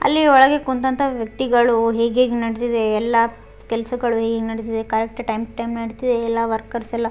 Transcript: ಅಲ್ಲಿ ಒಳಗೆ ಕುಂತಂತ ವ್ಯಕ್ತಿಗಳು ಹೇಗೆಗ್ ನಡ್ದಿದೆ ಎಲ್ಲಪ್ ಕೆಲ್ಸಗಳು ಹೆಂಗ್ ನಡ್ದಿದೆ ಕರೆಕ್ಟ್ ಟೈಮ್ ಟೈಮ್ ನಡ್ಡಿದೆ ಎಲ್ಲ ವರ್ಕರ್ಸ್ ಎಲ್ಲ --